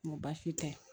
N ko baasi tɛ